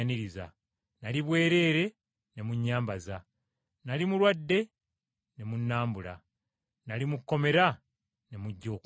nnali bwereere ne munnyambaza, nnali mulwadde ne munnambula, nnali mu kkomera ne mujja okundaba.’